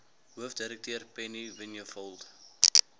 hoofdirekteur penny vinjevold